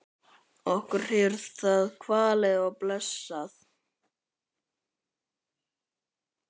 Okkur hefur það kvalið og blessað.